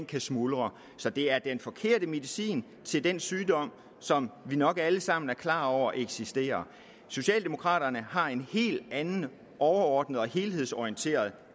kan smuldre så det er den forkerte medicin til den sygdom som vi nok alle sammen er klar over eksisterer socialdemokraterne har en helt anden overordnet og helhedsorienteret